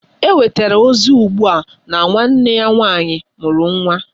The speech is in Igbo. Enwetara ozi ugbua na nwanne ya nwanyị mụrụ nwa